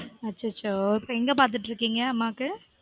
அச்சசோ இப்போ எங்க பாத்துட்டிருக்கீங்க அம்மாக்கு?